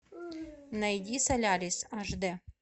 найди солярис аш д